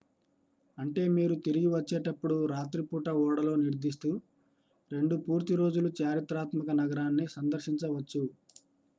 అంటే మీరు తిరిగి వచ్చేటప్పుడు రాత్రి పూట ఓడలో నిద్రిస్తూ రెండు పూర్తి రోజులు చారిత్రాత్మక నగరాన్ని సందర్శించవచ్చు